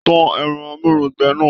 Tan ẹrọ amurungbẹ̀ náà!